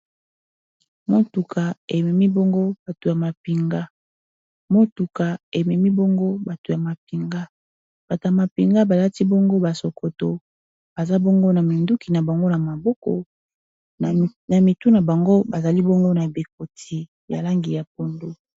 Motuka ememi bongo batu ya mapinga. Motuka ememi bongo bato ya mapinga, batu ya mapinga balati bongo basokoto baza bongo na minduki na bango na maboko na mitu na bango bazali bongo na bikoti ya langi ya pondo.